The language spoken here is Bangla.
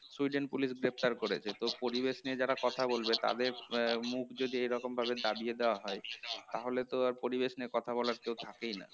সুইডেন police গ্রেফতার করেছে তো পরিবেশ নিয়ে যারা কথা বলবে তাদের আহ মুখ যদি এরকম ভাবে দাবিয়ে দেয়া হয় তাহলে তো আর পরিবেশ নিয়ে কথা বলার কেউ থেকেই না